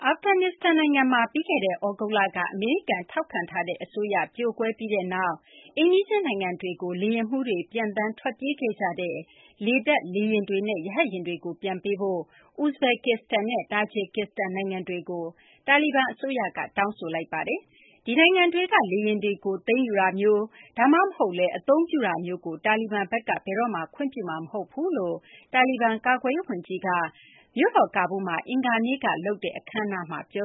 အာဖဂန်နစ္စတန်နိုင်ငံမှာ ပြီးခဲ့တဲ့ သြဂုတ်လက အမေရိကန်ထောက်ခံထားတဲ့ အစိုးရ ပြိုကွဲပြီးနောက် အိမ်နီးချင်း နိုင်ငံတွေကို လေယာဉ်မှူးတွေက ပျံသန်း ထွက်ပြေးခဲ့ကြတဲ့ လေတပ် လေယာဉ်တွေနဲ့ ရဟတ်ယာဉ်တွေကို ပြန်ပေးဖို့ ဥဇဘက်ကစ္စတန်နဲ့ တာဂျစ်ကစ္စတန် နိုင်ငံတွေကို တာလီဘန်အစိုးရက တောင်းဆိုလိုက်ပါတယ်။ ဒီနိုင်ငံတွေက လေယာဉ်တွေကို သိမ်းယူတာမျိုး ဒါမှမဟုတ်လည်း အသုံးပြုတာမျိုး တာလီဘန်က ဘယ်တော့မှ ခွင့်ပြုမှာ မဟုတ်ကြောင်း တာလီဘန် ကာကွယ်ရေး ဝန်ကြီး Mohammad Yaqoob က မြို့တော် ကာဘူးလ်မှာ အင်္ဂါနေ့က လုပ်တဲ့ လေတပ် အခမ်းအနားမှာ ပြ